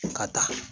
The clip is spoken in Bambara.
Ka taa